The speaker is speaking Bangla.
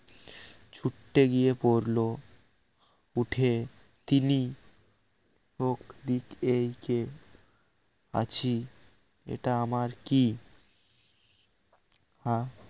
ছুট্টে গিয়ে পড়ল উঠে তিনি হোক দিক এই কে আছি এটা আমার কি আহ